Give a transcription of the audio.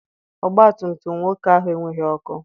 Ọgbatumtum nwoke ahụ enweghị ọkụ.